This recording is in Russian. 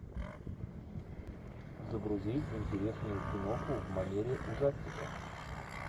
загрузи интересную киноху в манере ужастика